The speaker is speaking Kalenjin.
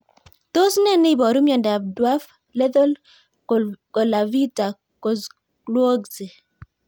Tos nee neiparu miondop dwarf lethal Colavita Kozlowski